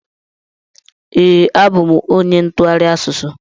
Ee, abụ m onye ntụgharị asụsụ.